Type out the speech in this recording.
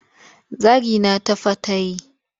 Zagina ta fa ta yi.